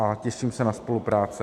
A těším se na spolupráci.